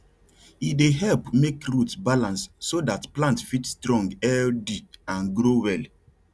e dey help make root balance so that plant fit strong healthy and grow well